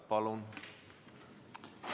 Palun!